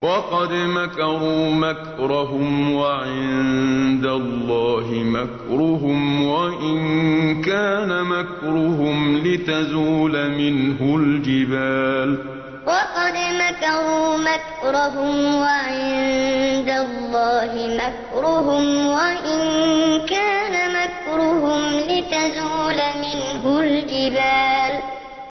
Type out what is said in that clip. وَقَدْ مَكَرُوا مَكْرَهُمْ وَعِندَ اللَّهِ مَكْرُهُمْ وَإِن كَانَ مَكْرُهُمْ لِتَزُولَ مِنْهُ الْجِبَالُ وَقَدْ مَكَرُوا مَكْرَهُمْ وَعِندَ اللَّهِ مَكْرُهُمْ وَإِن كَانَ مَكْرُهُمْ لِتَزُولَ مِنْهُ الْجِبَالُ